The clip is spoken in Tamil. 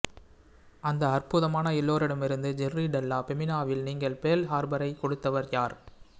அந்த அற்புதமான எல்லோரிடமிருந்து ஜெர்ரி டெல்லா ஃபெமினாவால் நீங்கள் பேர்ல் ஹார்பரைக் கொடுத்தவர் யார்